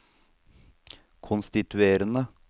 konstituerende